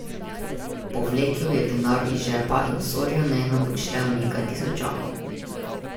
Povlekel je denar iz žepa in Sorjonenu odštel nekaj tisočakov.